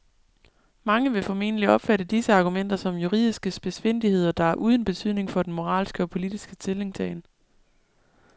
Mange vil formentlig opfatte disse argumenter som juridiske spidsfindigheder, der er uden betydning for den moralske og politiske stillingtagen.